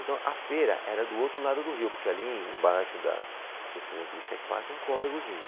Então a feira era do outro lado do rio, porque ali embaixo da Juscelino Kubitschek passa um córregozinho.